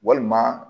Walima